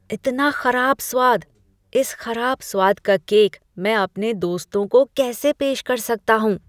इतना खराब स्वाद! इस खराब स्वाद का केक मैं अपने दोस्तों को कैसे पेश कर सकता हूँ।